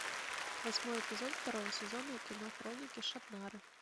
восьмой эпизод второго сезона кино хроники шаннары